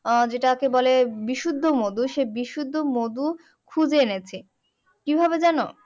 আহ যেটাকে বলে বিশুদ্ধ মধু সেই বিশুদ্ধ মধু খুঁজে এনেছি কি ভাবে জানো?